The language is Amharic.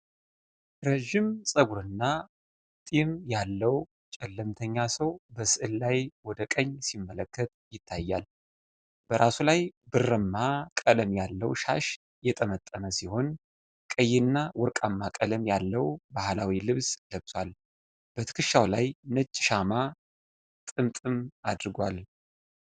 ረዥም ጸጉርና ጢም ያለው ጨለምተኛ ሰው በሥዕል ላይ ወደ ቀኝ ሲመለከት ይታያል። በራሱ ላይ ብርማ ቀለም ያለው ሻሽ የጠመጠመ ሲሆን፣ ቀይና ወርቃማ ቀለም ያለውን ባህላዊ ልብስ ለብሷል። በትከሻው ላይ ነጭ ሻማ ጥምጥም አድርጓል።